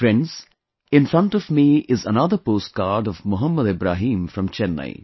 Friends, in front of me is another postcard of Mohammed Ibrahim from Chennai